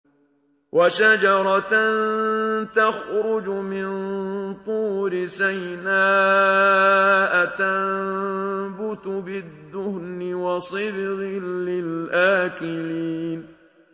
وَشَجَرَةً تَخْرُجُ مِن طُورِ سَيْنَاءَ تَنبُتُ بِالدُّهْنِ وَصِبْغٍ لِّلْآكِلِينَ